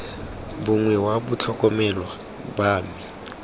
mongwe wa batlhokomelwa ba me